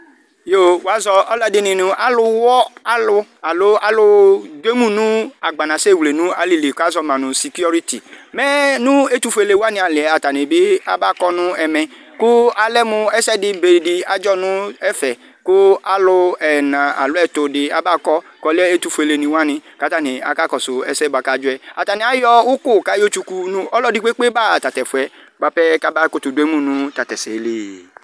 Yoo, wʋazɔ alʋ ɛdɩnɩ nʋ alʋ ɣɔ alʋ, alo alʋ dʋ emu nʋ agbanasɛ ewle nʋ alɩ li kʋ azɔ ma nʋ sekuriti, mɛ nʋ etʋfuelenɩ wanɩ alɩ yɛ, atanɩ bɩ abakɔ nʋ ɛmɛ, kʋ alɛ mʋ ɛsɛ dɩ be dɩ adzɔ nʋ ɛfɛ, kʋ alʋ ɛna alo ɛtʋ dɩ abakɔ kʋ alɛ ɛtʋfuelenɩ wanɩ kʋ atanɩ akakɔsʋ ɛsɛ bʋa kʋ adzɔ yɛ Atanɩ ayɔ ʋkʋ kʋ ayɔtsuku nʋ ɔlɔdɩ kpe-kpe baɣa ɔta tʋ ɛfʋ yɛ, bʋa pɛ kʋ abakʋtʋdʋ emu nʋ ɔta tʋ ɛsɛ li